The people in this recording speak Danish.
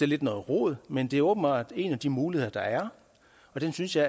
lidt noget rod men det er åbenbart en af de muligheder der er og den synes jeg